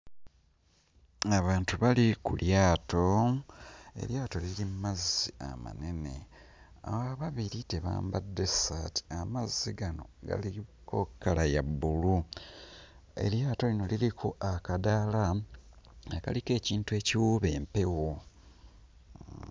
Abantu bali ku lyato, eryato liri mu mazzi amanene, ababiri tebambadde ssaati. Amazzi gano galiko kkala ya bbulu, eryato lino liriko akadaala akaliko ekintu ekiwuuba empewo.